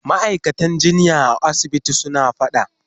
Ma'aikatan jinya a asibitin suna fada.